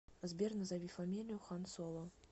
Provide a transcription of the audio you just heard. сбер назови фамилию хан соло